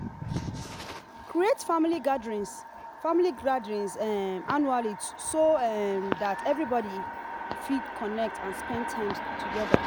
create family gatherings family gatherings um annually so um that everybody fit connect and spend time together